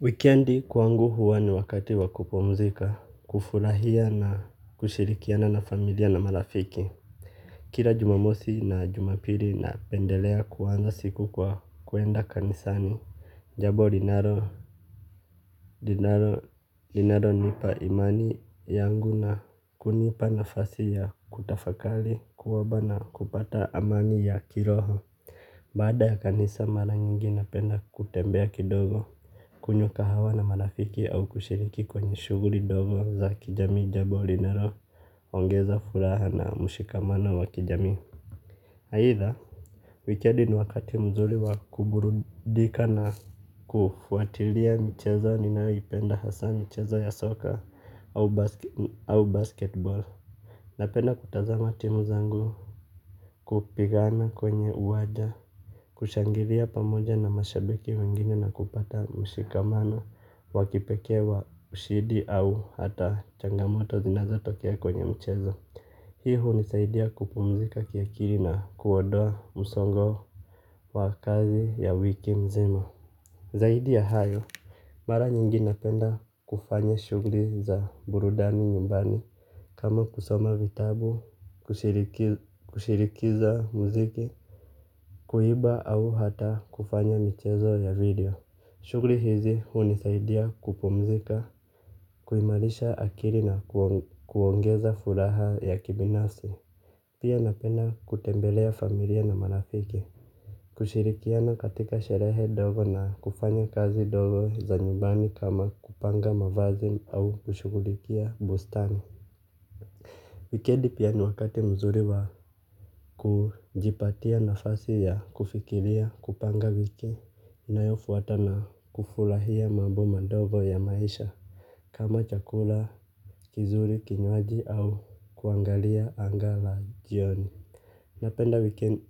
Wikendi kwangu huwa ni wakati wa kupumzika, kufurahia na kushirikiana na familia na marafiki. Kila jumamosi na jumapili napendelea kuanza siku kwa kuenda kanisani. Jambo linalo, linalo nipa imani yangu na kunipa nafasi ya kutafakari, kuomba na kupata amani ya kiroho. Baada ya kanisa mara nyingi napenda kutembea kidogo, kunywa kahawa na marafiki au kushiriki kwenye shughuli dogo za kijami jambo linalo, ongeza furaha na mshikamano wa kijami. Aidha, wikendi ni wakati mzuri wa kuburudika na kufuatilia mchezo ninayopenda hasa mchezo ya soka au basketbol. Napenda kutazama timu zangu kupigana kwenye uwanja, kushangilia pamoja na mashabiki wengine na kupata mshikamano. Waki pekewa ushindi au hata changamoto zinaza tokea kwenye mchezo. Hii hunisaidia kupumzika kiakili na kuondoa msongo wa kazi ya wiki mzima. Zaidi ya hayo, mara nyingi napenda kufanya shughuli za burudani nyumbani. Kama kusoma vitabu, kushirikiza mziki, kuiba au hata kufanya michezo ya video. Shughuli hizi hunisaidia kupumzika, kuimarisha akili na kuongeza furaha ya kibinafsi. Pia napenda kutembelea familia na marafiki, kushirikiana katika sherehe dogo na kufanya kazi dogo za nyumbani kama kupanga mavazi au kushughulikia bustani. Wikendi pia ni wakati mzuri wa kujipatia nafasi ya kufikiria kupanga wiki inayofuata na kufurahia mambo madogo ya maisha kama chakula, kizuri, kinywaji au kuangalia anga la jioni. Napenda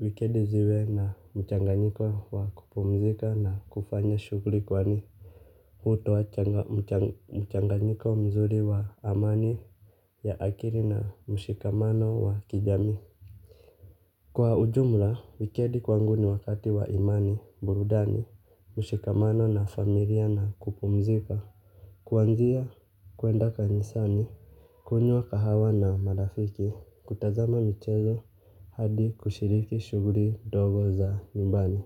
wikendi ziwe na mchanganyiko wa kupumzika na kufanya shughuli kwani hutoa mchanganyiko mzuri wa amani ya akili na mshikamano wa kijami. Kwa ujumla, wikendi kwangu ni wakati wa imani, burudani, mshikamano na familia na kupumzika. Kwanzia kuenda kanisani kunywa kahawa na marafiki, kutazama michezo hadi kushiriki shughuli dogo za nyumbani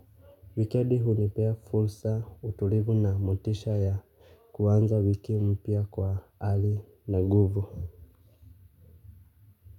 wikendi hunipea fursa utulivu na motisha ya kuanza wiki mpya kwa hali na nguvu.